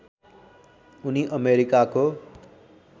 उनी अमेरिकाको